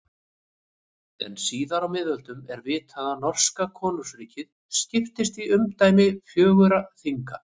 En síðar á miðöldum er vitað að norska konungsríkið skiptist í umdæmi fjögurra þinga.